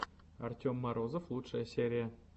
артем морозов лучшая серия